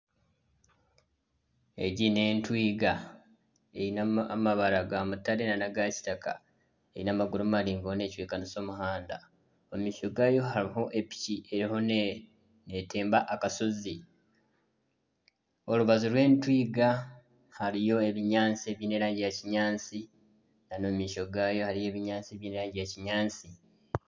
Egi n'entwiga eine amabara ga mutare nana aga kitaka. Eine amaguru maringwa, erimu necwekanisa omuhanda. Omu maisho gayo hariho epiki eriho netemba akashozi. Orubaju rw'etwiga hariyo ebinyaatsi ebiine erangi ya kinyaatsi kandi omu maisho gayo hariyo ebinyaatsi ebiine erangi ya kinyaatsi.